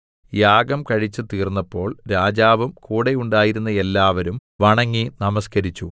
യാഗം കഴിച്ചു തീർന്നപ്പോൾ രാജാവും കൂടെ ഉണ്ടായിരുന്ന എല്ലാവരും വണങ്ങി നമസ്കരിച്ചു